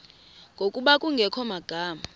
ngokuba kungekho magama